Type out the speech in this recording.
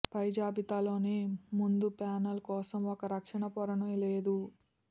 పై జాబితాలోని ముందు ప్యానెల్ కోసం ఒక రక్షణ పొరను లేదు